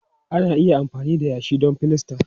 Ana iya amfani da yashi don filasta.